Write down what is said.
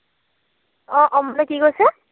অ, অ মানে কি কৈছে?